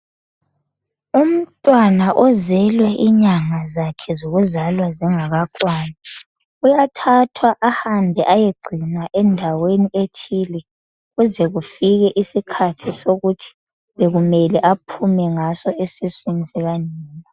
Umntwana ozelwe inyanga zakhe zokuzalwa zingakakwani uyathathwa ahambe ayegcinwa endaweni ethile kuze kufike isikhathi sokuthi bekumele aphume ngaso esiswini sikanina.